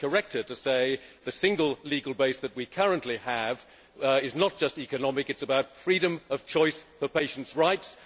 I would just correct her to say the single legal base that we currently have is not just economic it is about freedom of choice for patients' rights.